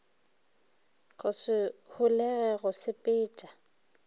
go se holege go sepetša